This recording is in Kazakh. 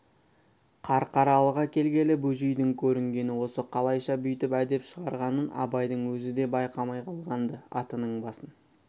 қарқаралыға келгелі бөжейдің көрінгені осы қалайша бүйтіп әдеп шығарғанын абайдың өзі де байқамай қалған-ды атының басын